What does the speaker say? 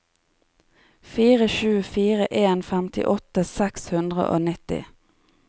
fire sju fire en femtiåtte seks hundre og nitti